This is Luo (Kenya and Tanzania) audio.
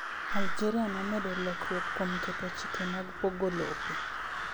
Algeria nomedo lokruok kuom keto chike mag pogo lope